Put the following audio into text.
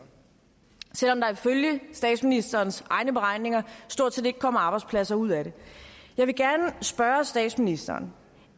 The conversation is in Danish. selv om der ifølge statsministerens egne beregninger stort set ikke kommer arbejdspladser ud af det jeg vil gerne spørge statsministeren